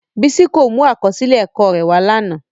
Bisi ko mu akọsilẹ ẹkọ rẹ wa lana.